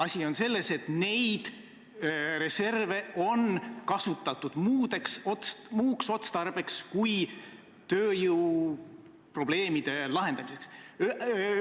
Asi on selles, et neid reserve on kasutatud muuks otstarbeks kui tööjõuprobleemide lahendamiseks.